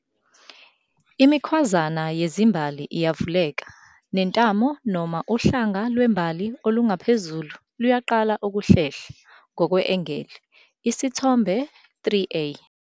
Imikhwazana yezimbali iyavuleka nentamo noma uhlanga lwembali olungaphezulu luyaqala ukuhlehla ngokwe-angeli, Isithombe 3a.